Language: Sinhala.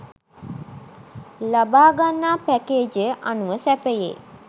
ලබාගන්නා පැකේජය අනුව සැපයේ.